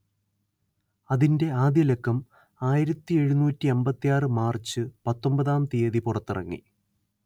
അതിന്റെ ആദ്യലക്കം ആയിരത്തിയെഴുന്നൂറ്റിയമ്പത്തിയാറ് മാർച്ച് പത്തൊമ്പതാം തിയതി പുറത്തിറങ്ങി